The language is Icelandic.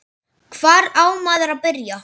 Hvar á maður að byrja?